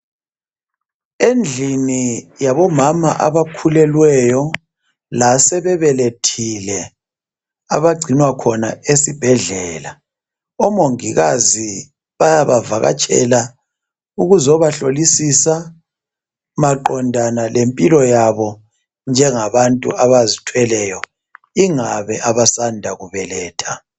Endlini yabomama abakhulelweyo lasebebelethile abagcinwa khona esibhedlela. Omongikazi bayaba vakatshela ukuzobahlolisisa maqondana lempilo yabo njengabantu abazithweleyo ingabe abasanda kubeletha.